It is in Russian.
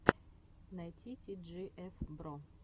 найти ти джи эф бро